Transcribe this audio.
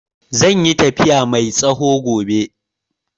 Zai yi tafiya mai tsawo gobe.